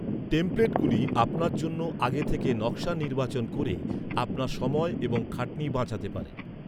টেমপ্লেটগুলি আপনার জন্য আগে থেকে নকশা নির্বাচন ক’রে আপনার সময় এবং খাটনি বাঁচাতে পারে।